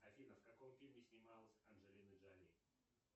афина в каком фильме снималась анджелина джоли